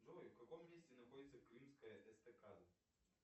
джой в каком месте находится крымская эстакада